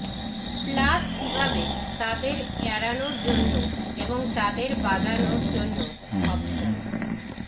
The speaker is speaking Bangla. প্লাস কিভাবে তাদের এড়ানোর জন্য এবং তাদের বাজানো জন্য অপশন